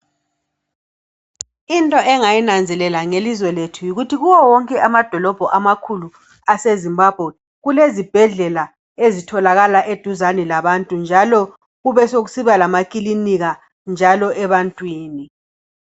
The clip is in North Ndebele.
Into engayinanzelela ngelizwe lethu yikuthi kuwo wonke amadolobho amakhulu aseZimbabwe, kulezibhedlela ezitholakala eduzane labantu njalo kubesekusiba lama kilinika njalo ebantwini.